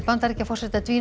Bandaríkjaforseta